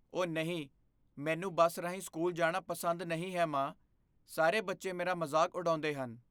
ਓਹ ਨਹੀਂ! ਮੈਨੂੰ ਬੱਸ ਰਾਹੀਂ ਸਕੂਲ ਜਾਣਾ ਪਸੰਦ ਨਹੀਂ ਹੈ, ਮਾਂ। ਸਾਰੇ ਬੱਚੇ ਮੇਰਾ ਮਜ਼ਾਕ ਉਡਾਉਂਦੇ ਹਨ।